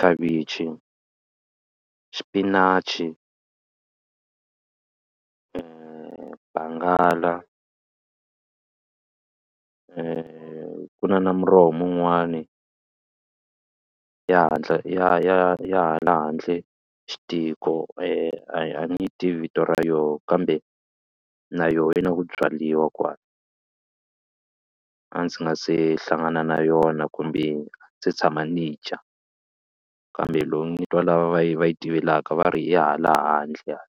khavichi, xipinachi bangala ku na na muroho mun'wani ya hatla ya ya ya hala handle xitiko a ni tivi vito ra yona kambe na yona yi na ku byariwa kwala a ndzi nga se hlangana na yona kumbe se tshama ni dya kambe loko ni twa lava va yi va yi tivekaka va ri ya hala handle hala.